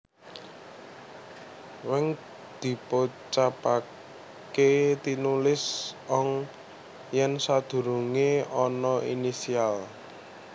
weng dipocapaké tinulis ong yèn sadurungé ana initial